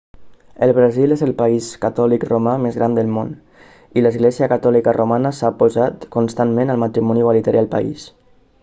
el brasil és el país catòlic romà més gran del món i l'església catòlica romana s'ha oposat constantment al matrimoni igualitari al país